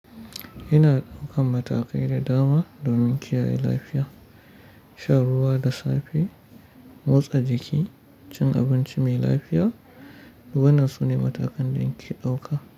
Ina ɗaukan matakai da dama domin kiyaye lafiya. Sha ruwa da safe, motsa jiki, cin abinci mai lafiya, wannan sune matakan da nake ɗauka.